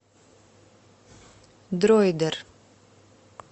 дроидер